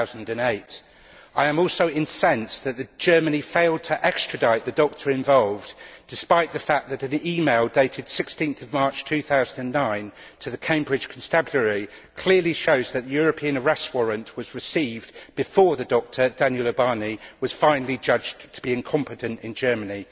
2008. I am also incensed that Germany failed to extradite the doctor involved, despite the fact that an email dated 16 March 2009 to the Cambridge Constabulary clearly shows that the European arrest warrant was received before the doctor, Daniel Ubani, was finally judged to be incompetent in Germany.